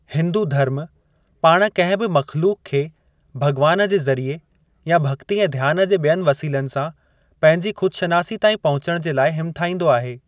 हिंदू धर्म पाणि किंहिं बि मख़्लूक़ खे भग॒वान जे ज़रिए या भगि॒ती ऐं ध्यानु जे बि॒यनि वसीलनि सां पंहिंजी ख़ुद-शनासी ताईं पहुंचणु जे लाइ हिमथाईंदो आहे।